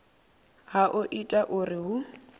ha o ita uri hu